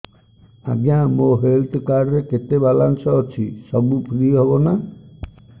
ଆଜ୍ଞା ମୋ health card ରେ କେତେ ବାଲାନ୍ସ ଅଛି ସବୁ ଫ୍ରି ହବ ନାଁ